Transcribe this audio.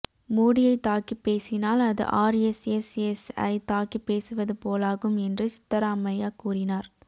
மோடியை தாக்கிப் பேசினால் அது ஆர் எஸ் எஸ் எஸ் ஐ தாக்கிப் பேசுவது போலாகும் என்றும் சித்தராமையா கூறினார்